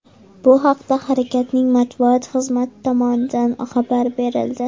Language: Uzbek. Bu haqda harakatning matbuot xizmati tomonidan xabar berildi .